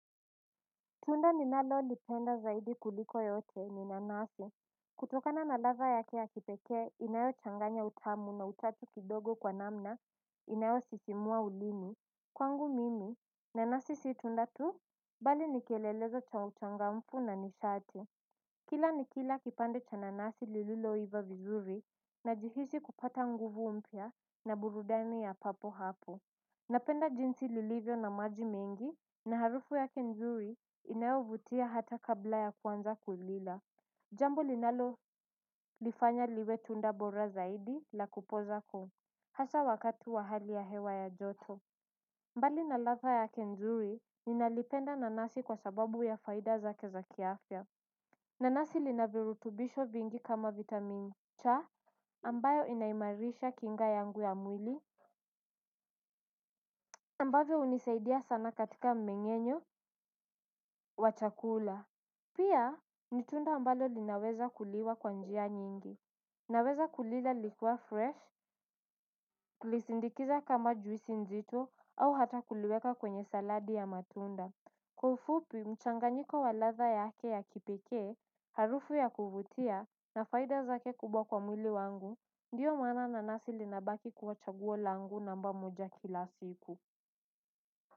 Tunda ninalo lipenda zaidi kuliko yote ni nanasi. Kutokana na ladha yake ya kipekee inayochanganya utamu na uchachu kidogo kwa namna inayo sisimua ulimi, kwangu mimi nanasi situnda tu. Bali ni kielelezo cha uchangamfu na nishati. Kila nikila kipande cha nanasi lililo iva vizuri. Najihisi kupata nguvu mpya na burudani ya papo hapo. Napenda jinsi lilivyo na maji mengi na harufu yake nzuri inayovutia hata kabla ya kuanza kulila. Jambo linalo lifanya liwe tunda bora zaidi la kupoza koo. Hasa wakati wa hali ya hewa ya joto. Mbali na ladha yake nzuri, ninalipenda nanasi kwa sababu ya faida zake za ki afya. Nanasi lina virutubisho vingi kama vitamin cha ambayo inaimarisha kinga yangu ya mwili ambavyo hunisaidia sana katika mmenyenyo, wa chakula. Pia, ni tunda ambalo linaweza kuliwa kwa njia nyingi. Naweza kulila likiwa fresh, tulisindikiza kama juisi nzito au hata kuliweka kwenye saladi ya matunda. Kwa ufupi, mchanganyiko wa ladha yake ya kipekee, harufu ya kuvutia na faida zake kubwa kwa mwili wangu, ndiyo maana nanasi linabaki kuwa chaguo langu namba moja kila siku.